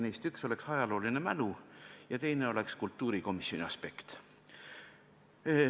Neist üks oleks ajalooline mälu ja teine oleks kultuurikomisjoni aspekt.